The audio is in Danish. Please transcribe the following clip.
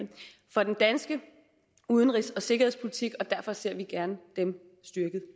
for den danske udenrigs og sikkerhedspolitik og derfor ser vi gerne dem styrket